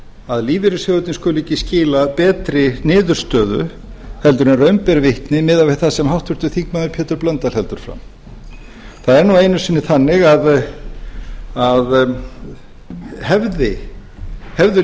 að lífeyrissjóðirnir skuli ekki skila betri niðurstöðu heldur en raun ber vitni miðað við það sem háttvirtur þingmaður pétur h blöndal heldur fram það er nú einu sinni þannig að hefðu